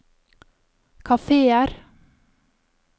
kafeer